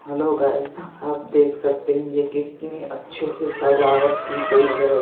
Hello guys आप देख सकते है ये कितनी अच्छे से सजावट की गयी हैं।